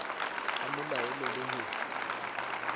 a mo laole le ho